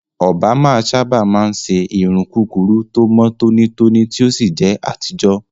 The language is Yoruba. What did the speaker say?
Òbámà sábà máa ń ṣe irun kúkúrú tó mọ́ tónítóní tí ó sì jẹ́ àtijọ́.